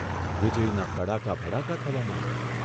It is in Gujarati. વીજળીના કડાકા ભડાકાં થવા માંડ્યા.